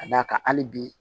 Ka d'a kan hali bi